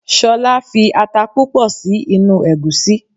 Solá fi ata púpò si inú ègúsí